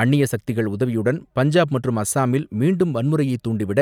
அந்நிய சக்திகள் உதவியுடன் பஞ்சாப் மற்றும் அஸ்ஸாமில் மீண்டும் வன்முறையைத் தூண்டிவிட